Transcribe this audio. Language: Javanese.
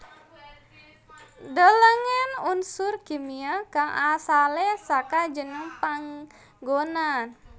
Delengen Unsur kimia kang asalé saka jeneng panggonan